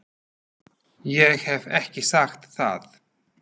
Ég hef ekki sagt það!